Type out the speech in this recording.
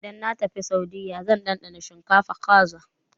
Idan na tafi Saudiyya zan ɗanɗana shinkafa-kaza.